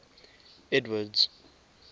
edward's